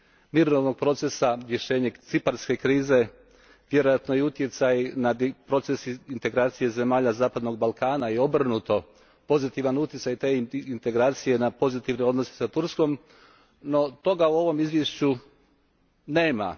mirovnog procesa rješavanja ciparske krize, vjerojatno i utjecaj na proces integracije zemalja zapadnog Balkana i obrnuto pozitivan utjecaj te integracije na pozitivne odnose s Turskom, no toga u ovome izvješću nema.